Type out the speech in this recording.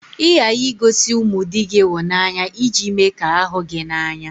Ị ghaghị igosi ụmụ di gị ịhụnanya iji me ka ha hụ gị n'anya